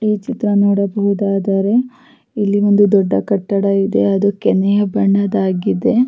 ಈ ಚಿತ್ರ ನೋಡಬಹುದಾದರೆ ಇಲ್ಲಿ ಒಂದು ದೊಡ್ಡ ಕಟ್ಟಡ ಇದೆ ಅದು ಕೆನೆಯ ಬಣ್ಣದ್ದಾಗಿದೆ.